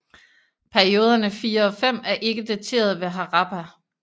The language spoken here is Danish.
Perioderne 4 og 5 er ikke daterede ved Harappa